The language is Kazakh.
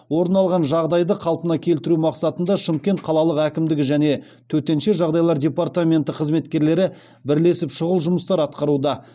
орын алған жағдайды қалпына келтіру мақсатында шымкент қалалық әкімдігі және төтенше жағдайлар департаменті қызметкерлері бірлесіп шұғыл жұмыстар атқаруда